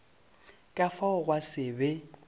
ka fao gwa se be